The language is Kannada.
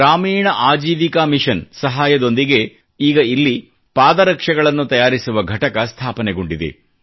ಗ್ರಾಮೀಣ ಆಜೀವಿಕಾ ಮಿಶನ್ ಸಹಾಯದೊಂದಿಗೆ ಈಗ ಇಲ್ಲಿ ಪಾದರಕ್ಷೆಗಳನ್ನು ತಯಾರಿಸುವ ಘಟಕ ಸ್ಥಾಪನೆಗೊಂಡಿದೆ